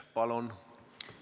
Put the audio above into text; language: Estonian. Palun!